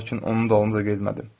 Lakin onun dalınca getmədim.